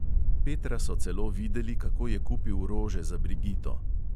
Petra so celo videli, kako je kupil rože za brigito.